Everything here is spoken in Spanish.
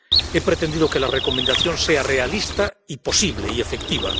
He pretendido que la Recomendación sea realista y posible y efectiva.